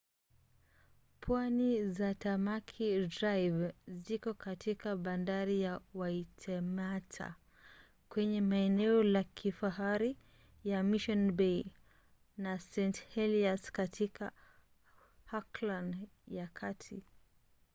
pwani za tamaki drive ziko katika bandari ya waitemata kwenye maeneo ya kifahari ya mission bay na st. heliers katika auckland ya kati